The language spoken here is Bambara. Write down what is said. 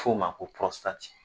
f'o ma ko rɔsptati!